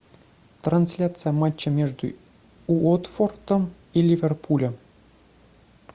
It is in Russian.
трансляция матча между уотфордом и ливерпулем